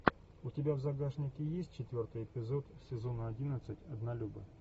у тебя в загашнике есть четвертый эпизод сезона одиннадцать однолюбы